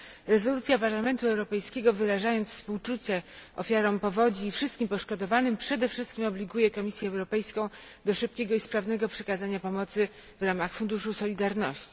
Rezolucja Parlamentu Europejskiego wyrażając współczucie ofiarom powodzi i wszystkim poszkodowanym przede wszystkim obliguje Komisję Europejską do szybkiego i sprawnego przekazania pomocy w ramach Funduszu Solidarności.